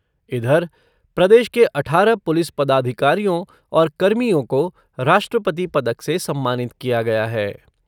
इधर, प्रदेश के अठारह पुलिस पदाधिकारियों और कर्मियों को राष्ट्रपति पदक से सम्मानित किया गया है।